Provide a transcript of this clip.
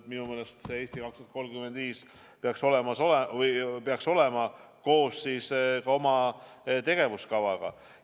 Minu meelest see "Eesti 2035" peaks olema koos ka oma tegevuskavaga.